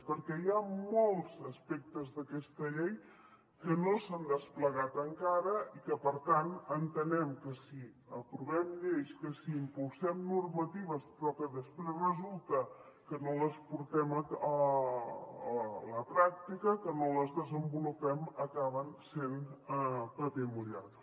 perquè hi ha molts aspectes d’aquesta llei que no s’han desplegat encara i que per tant entenem que si aprovem lleis que si impulsem normatives però que després resulta que no les portem a la pràctica que no les desenvolupem acaben sent paper mullat